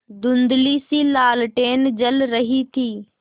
धुँधलीसी लालटेन जल रही थी